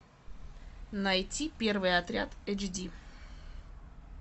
найти первый отряд эйч ди